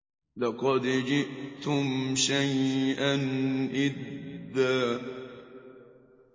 لَّقَدْ جِئْتُمْ شَيْئًا إِدًّا